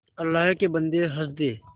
अल्लाह के बन्दे हंस दे